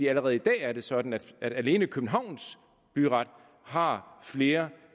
allerede i dag er det sådan at alene københavns byret har flere